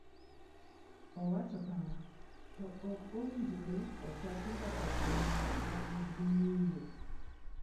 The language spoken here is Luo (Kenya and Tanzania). Owacho kama: “To ok owinjore ochaki mbaka kuom ng’at ma nigi ng’iyo.”